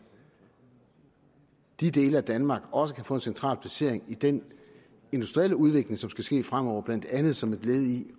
de dele af danmark også kan få en central placering i den industrielle udvikling som skal ske fremover blandt andet som et led i